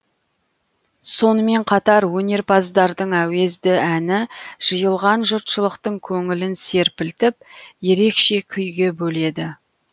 сонымен қатар өнерпаздардың әуезді әні жиылған жұртшылықтың көңілін серпілтіп ерекше күйге бөледі